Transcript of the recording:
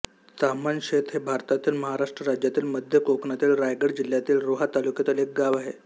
ताम्हणशेत हे भारतातील महाराष्ट्र राज्यातील मध्य कोकणातील रायगड जिल्ह्यातील रोहा तालुक्यातील एक गाव आहे